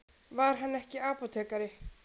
Var hann ekki apótekari?